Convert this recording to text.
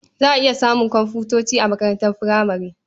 Za a iya samun komfuta a makarantar furamare.